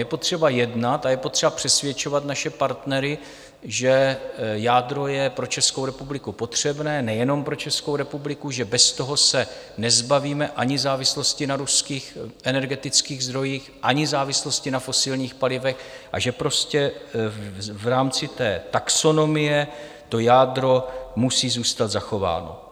Je potřeba jednat a je potřeba přesvědčovat naše partnery, že jádro je pro Českou republiku potřebné, nejenom pro Českou republiku, že bez toho se nezbavíme ani závislosti na ruských energetických zdrojích, ani závislosti na fosilních palivech, a že prostě v rámci té taxonomie to jádro musí zůstat zachováno.